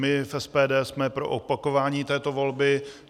My z SPD jsme pro opakování této volby.